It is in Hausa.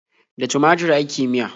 Da tumatur ake miya.